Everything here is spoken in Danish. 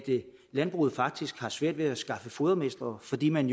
landbruget faktisk har svært ved at skaffe fodermestre fordi man